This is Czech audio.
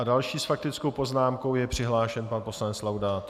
A s další faktickou poznámkou je přihlášen pan poslanec Laudát.